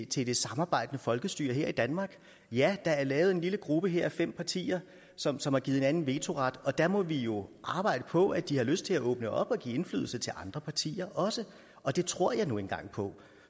til det samarbejdende folkestyre her i danmark ja der er lavet en lille gruppe her af fem partier som som har givet hinanden vetoret og der må vi jo arbejde på at de får lyst til at åbne op og give indflydelse til andre partier også og det tror jeg nu engang på